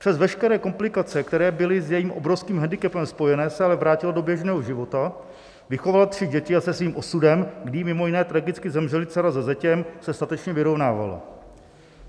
Přes veškeré komplikace, které byly s jejím obrovským handicapem spojené, se ale vrátila do běžného života, vychovala tři děti a se svým osudem, kdy jí mimo jiné tragicky zemřeli dcera se zetěm, se statečně vyrovnávala.